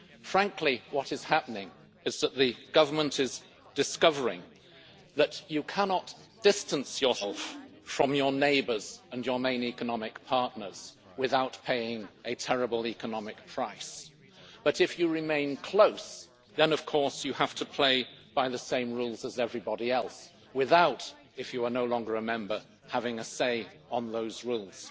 Frankly, what is happening is that the Government is discovering that you cannot distance yourself from your neighbours and your main economic partners without paying a terrible economic price. But if you remain close, then of course, you have to play by the same rules as everybody else without, if you are no longer a member, having a say on those rules.